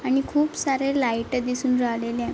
आणि खुप सारे लाइट दिसून राहिलेले आहे.